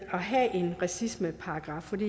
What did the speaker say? at have en racismeparagraf